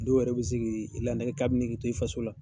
Dɔw yɛrɛ be se k'i la k'abi nege to i faso la